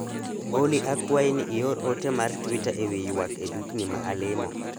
Olly akwayi ni ior ote mar twita ewi ywak e dukni ma alimo